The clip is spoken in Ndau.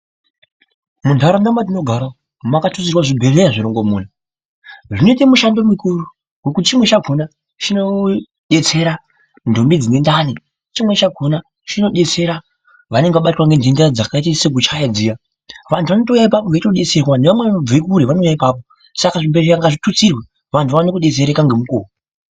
Muntaraunda matinogara makatustirwa zvibhedhlera zvirongomuna, zvinoite mushando mukuru nekuti chimweni chakona chinodetsera ndombi dzine ndani , chimweni chakona chinodetsera vanenge vabatwa nenhemda dzakaita sekuchaya dziya vantu vanotouya apapo veitodetserwa nevamweni vanotobve kure vanouya ipapo saka zvibhedhlera ngazvitutsirwe.